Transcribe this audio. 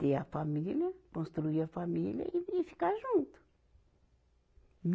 Ter a família, construir a família e, e ficar junto.